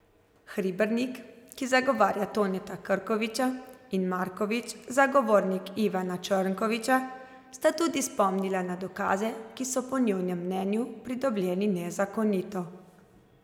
Hribernik, ki zagovarja Toneta Krkoviča, in Marković, zagovornik Ivana Črnkoviča, sta tudi spomnila na dokaze, ki so po njunem mnenju pridobljeni nezakonito.